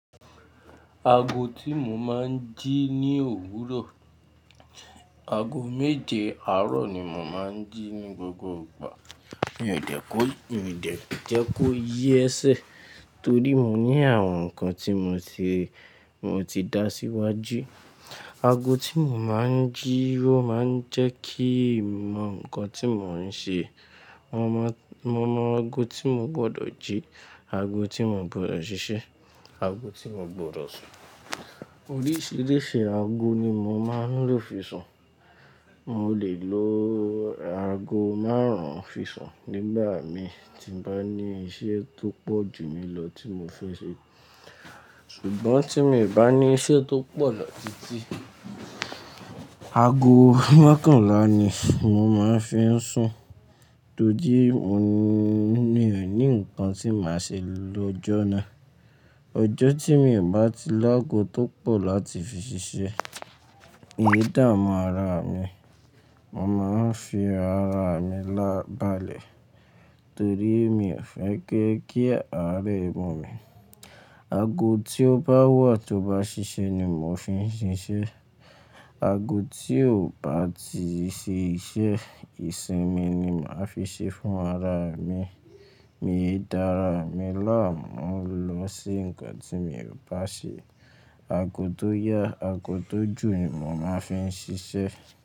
Aago tí mo máa ń jí ní òwúrọ̀, aago méje àárọ̀ ni mo máa ń jí ní gbogbo ìgbà. Mi ò jẹ́ kó, mi ò dẹ jẹ́ kó yi ẹsẹ̀ torí mo ní àwọn nǹkan tí mo ti, mo ti dá síwájú. Aago tí mo máa ń jí ó máa ń jẹ́ kí n mọ nǹkan tí mò ń ṣe. Mo mọ, mo mọ aago tí mo gbọdọ̀ jí, aago tí mo gbọdọ̀ ṣiṣẹ́, aago tí mo gbọdọ̀ sùn. Oríṣiríṣi aago ni mo máa ń lò fi sùn. Mo lè lo aago márùn-ún fi sùn nígbà mi tí n bá ní iṣẹ́ tó pọ̀ jù mí lọ tí mo fẹ́ ṣe. Ṣùgbọ́n tí mi ò bá ní iṣẹ́ tó pọ̀ lọ titi, aago mẹ́kànlá ni mo máa ń fi sùn torí mo ní, mo ní nǹkan tí màá ṣe lọ́jọ́ náà. Ọjọ́ tí mi ò bá ti ló aago tó pọ̀ láti fi ṣiṣẹ́, mi ò dámu ara mi, mo máa ń fi ara mi lábálẹ̀ torí mi ò fẹ́ gẹ́ kí ààrẹ ọmọ mi. Aago tí ó bá wà tí ó bá ṣiṣẹ́ ni mo fi ń ṣiṣẹ́. Aago tí ò bá ti ṣe iṣẹ́, ìsinmi ni màá fi ṣe fún ara mi. Mi ò dá ara mi láàmú lọ sí nǹkan tí mi ò bá ṣe. Aago tó yá, aago tó jù ni mo máa ń fi ṣiṣẹ́.